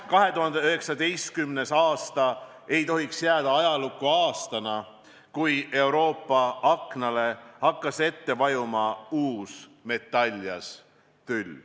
2019. aasta ei tohiks jääda ajalukku aastana, kui Euroopa aknale hakkas ette vajuma uus metaljas tüll.